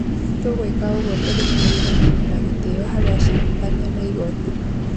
Tũgwĩka ũguo tũrĩ na ũigananĩru na gĩtĩo harĩ acirithania na igooti.